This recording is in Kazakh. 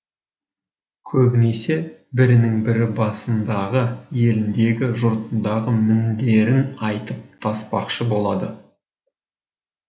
көбінесе бірінің бірі басындағы еліндегі жұртындағы міндерін айтып таспақшы болады